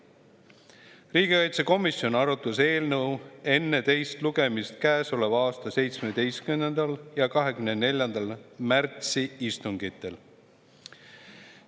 Riigikaitsekomisjon arutas eelnõu enne teist lugemist käesoleva aasta 17. ja 24. märtsi istungil.